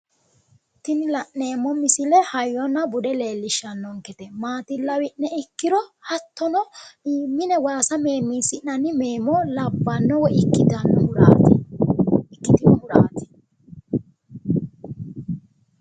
Tinni la'neemo misille hayinna Bude leelishanonkete maati lawi'ne ikkiro hattono mine waassa meemiisi'nanni meemo labbano woyi ikkitanohuraati.